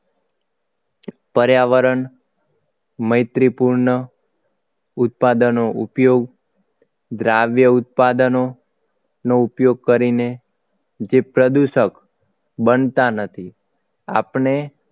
પર્યાવરણ મૈત્રિપૂર્ણ ઉત્પાદનનો ઉપયોગ દ્રાવ્ય ઉત્પાદનો નો ઉપયોગ કરીને જે પ્રદૂષક બનતા નથી આપણે